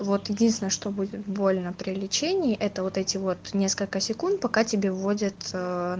вот единственное что будет больно при лечении это вот эти вот несколько секунд пока тебе вводят а